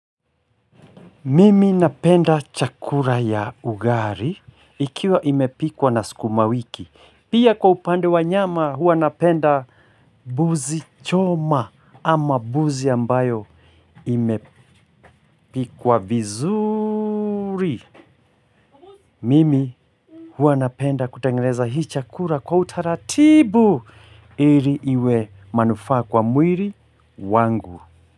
Mimi napenda chakura ya ugari ikiwa imepikwa na siku wiki. Pia kwa upande wa nyama hua napenda buzi choma ama buzi ambayo imepikwa vizuri. Mimi hua napenda kutangeneza hii chakura kwa utaratibu ili iwe manufaa kwa mwili wangu.